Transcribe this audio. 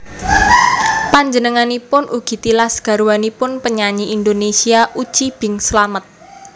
Panjenenganipun ugi tilas garwanipun penyanyi Indonesia Uci Bing Slamet